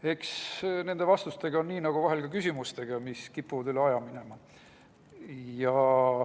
Eks nende vastustega ole nii nagu vahel ka küsimustega, mis kipuvad üle aja minema.